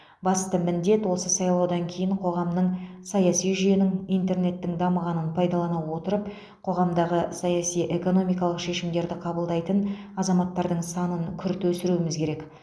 басты міндет осы сайлаудан кейін қоғамның саяси жүйенің интернеттің дамығанын пайдалана отырып қоғамдағы саяси экономикалық шешімдерді қабылдайтын азаматтардың санын күрт өсіруіміз керек